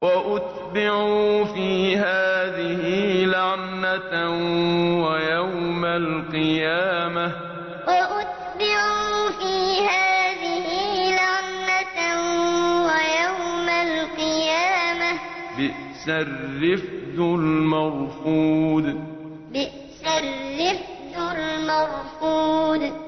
وَأُتْبِعُوا فِي هَٰذِهِ لَعْنَةً وَيَوْمَ الْقِيَامَةِ ۚ بِئْسَ الرِّفْدُ الْمَرْفُودُ وَأُتْبِعُوا فِي هَٰذِهِ لَعْنَةً وَيَوْمَ الْقِيَامَةِ ۚ بِئْسَ الرِّفْدُ الْمَرْفُودُ